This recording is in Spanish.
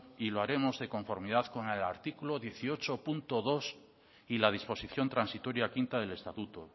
y lo haremos de conformidad con el artículo dieciocho punto dos y la disposición transitoria quinta del estatuto